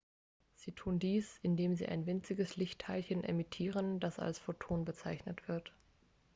sie tun dies indem sie ein winziges lichtteilchen emittieren das als photon bezeichnet wird